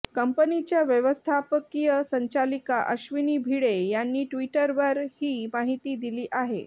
कंपनीच्या व्यवस्थापकीय संचालिका अश्विनी भिडे यांनी ट्विटवर ही माहिती दिली आहे